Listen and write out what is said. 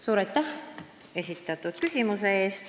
Suur aitäh esitatud küsimuse eest!